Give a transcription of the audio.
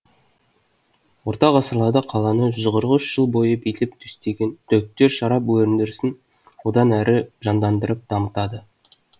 орта ғасырларда қаланы жүз қырық үш жыл бойы билеп төстеген түріктер шарап өндірісін одан әрі жандандырып дамытады